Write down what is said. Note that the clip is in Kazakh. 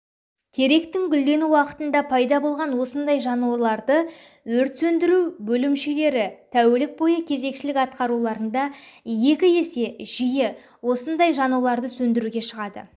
теректің гүлдену уақытында пайда болған осындай жануларды өрт сөндіру бөлімшелері тәулік бойы кезекшілік атқаруларында екі есе жиі осындай жануларды сөндіруге шығады